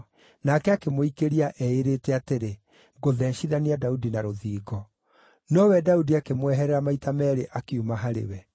nake akĩmũikĩria, eĩĩrĩte atĩrĩ, “Ngũtheecithania Daudi na rũthingo.” Nowe Daudi akĩmweherera maita meerĩ akiuma harĩ we.